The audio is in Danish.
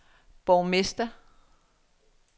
borgmester